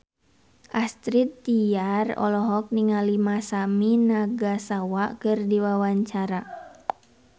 Astrid Tiar olohok ningali Masami Nagasawa keur diwawancara